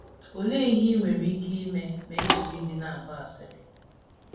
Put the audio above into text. Olee ihe i nwere ike ime ma e jiri gị na - agba asịrị?